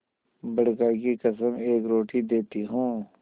बड़का की कसम एक रोटी देती हूँ